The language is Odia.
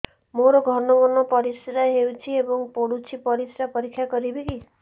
ମୋର ଘନ ଘନ ପରିସ୍ରା ହେଉଛି ଏବଂ ପଡ଼ୁଛି ପରିସ୍ରା ପରୀକ୍ଷା କରିବିକି